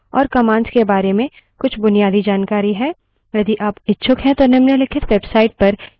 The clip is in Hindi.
यदि आप इच्छुक हैं तो निम्नलिखित website पर यह दूसरे spoken tutorial के माध्यम से उपलब्ध है